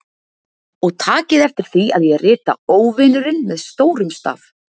Og takið eftir því að ég rita Óvinurinn með stórum staf.